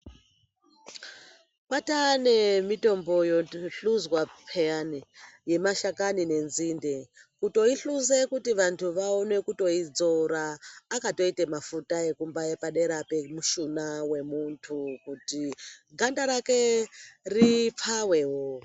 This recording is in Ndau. Kwataane mitombo yohluzwa pheyani yemashakani nenzinde, kutoihluze kuti vantu vaone kutoidzora, akatoite mafuta ekumbaye padera pemushuna wemuntu ,kuti ganda rake ripfawewo.